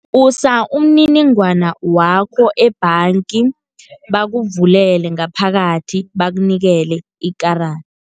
Usa umniningwana wakho ebhanga, bakuvulele ngaphakathi bakunikele ikarada.